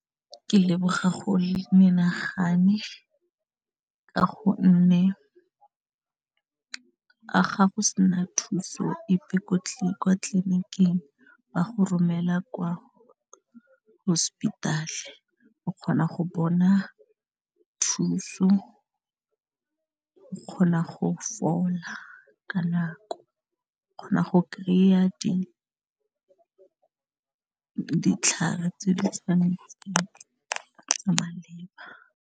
Ke leboga go menagane ka gonne ga go se na thuso epe kwa tleliniking ba go romela kwa hospital o kgona go bona thuso, o kgona go fola ka nako, o kgona go kry-a ditlhare tse di tshwanetseng tsa maleba.